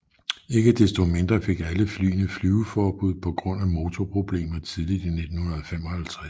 Ikke desto mindre fik alle flyene flyveforbud på grund af motorproblemer tidligt i 1955